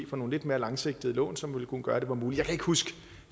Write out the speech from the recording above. for nogle lidt mere langsigtede lån som ville kunne gøre at det var muligt jeg kan ikke huske